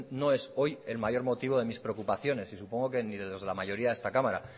no es hoy el mayor motivo de mis preocupaciones y supongo que ni de los de la mayoría de esta cámara